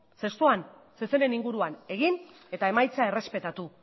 zestoan zezenen inguruan egin eta emaitza errespetatu